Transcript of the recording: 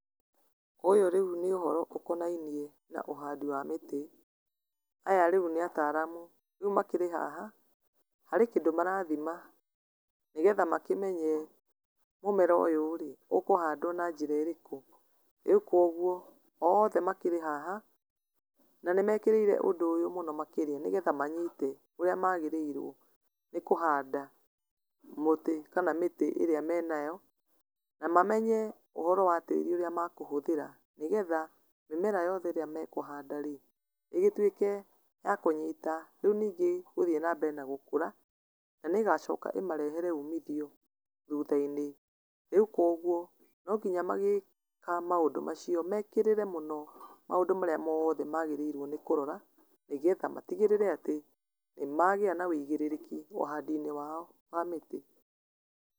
Ũyũ rĩu nĩ ũhoro ũkonainie na ũhandi wa mĩtĩ. Aya rĩu nĩ ataaramu, rĩu makĩrĩ haha harĩ kĩndũ marathima nĩgetha makĩmenye mũmero ũyũ-rĩ, ũkũhandwo na njĩra ĩrĩkũ. Rĩu koguo othe makĩrĩ haha na nĩ mekĩrĩire ũndũ ũyũ mũno makĩria nĩgetha manyite ũrĩa magĩrĩirwo nĩ kũhanda mũtĩ kana mĩtĩ ĩrĩa menayo, na mamenye ũhoro wa tĩĩri ũrĩa makũhũthĩra nĩgetha mĩmera yothe ĩrĩa mekũhanda-rĩ, ĩgĩtuĩke ya kũnyita rĩu ningĩ gũthiĩ na mbere na gũkũra, na nĩ ĩgacoka ĩmarehere umithio thuutha-inĩ. Rĩu koguo, no nginya magĩka maũndũ macio mekĩrĩre mũno maũndũ marĩa mothe magĩrĩirwo nĩ kũrora, nĩgetha matigĩrĩre atĩ nĩ magĩa na wĩigĩrĩrĩki ũhandi-inĩ wao wa mĩtĩ.